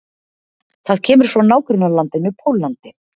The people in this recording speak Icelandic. Það kemur frá nágrannalandinu Póllandi.